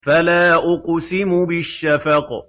فَلَا أُقْسِمُ بِالشَّفَقِ